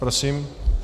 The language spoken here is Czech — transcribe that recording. Prosím.